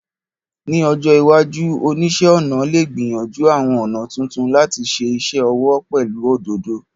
Ní ọjọ́ iwájú, àwọn oníṣẹ́-ọnà lè gbìyànjú àwọn ọ̀nà tuntun láti ṣe iṣẹ́ ọwọ́ pẹ̀lú òdòdó.